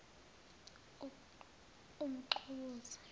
umxhukuza